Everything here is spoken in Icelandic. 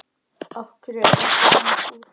Af hverju ertu svona fúll?